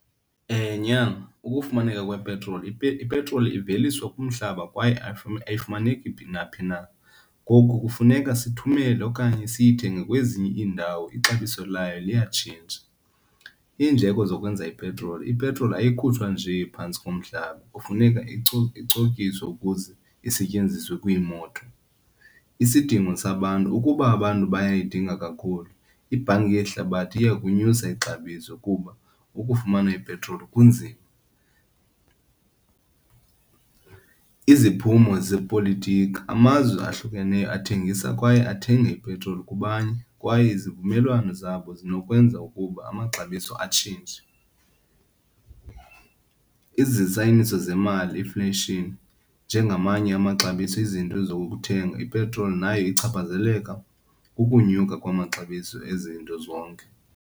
Nyana, ukufumaneka kwepetroli, ipetroli iveliswa kumhlaba kwaye ayifumaneki phi naphi na. Ngoku kufuneka sithumele okanye siyithenge kwezinye iindawo, ixabiso layo liyatshintsha. Iindleko zokwenza ipetroli, ipetroli ayikhuthazwa nje phantsi komhlaba kufuneka icokiswe ukuze isetyenziswe kwiimoto. Isidingo sabantu, ukuba abantu bayayidinga kakhulu ibhanki yehlabathi iya kunyusa ixabiso kuba ukufumana ipetroli kunzima. Iziphumo zepolitiko, amazwe ahlukeneyo athengisa kwaye athenge ipetroli kubanye kwaye izivumelwano zabo zinokwenza ukuba amaxabiso atshintshe. zemali, inflation, njengamanye amaxabiso ezinto zokuthenga ipetroli nayo ichaphazeleka kukunyuka kwamaxabiso ezinto zonke.